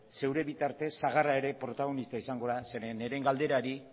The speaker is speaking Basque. zeure bitartez sagarra ere protagonista izango da zeren nire galderari